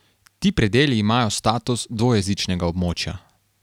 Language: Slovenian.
Ti predeli imajo status dvojezičnega območja.